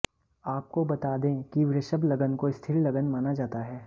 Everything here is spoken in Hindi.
आपको बता दें कि वृषभ लग्न को स्थिर लग्न माना जाता है